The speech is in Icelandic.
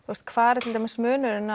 hvar er til dæmis munurinn